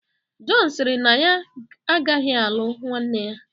Jọn sịrị na ya agaghị alụ nwanne ya